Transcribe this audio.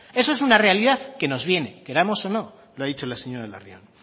eso es una realidad que nos viene queramos o no lo ha dicho la señora larrión